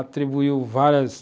Atribuiu várias